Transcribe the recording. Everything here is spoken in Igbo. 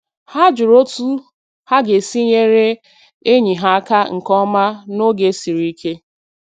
Ha jụrụ otu ha ga-esi nyere enyi ha aka nke ọma n’oge siri ike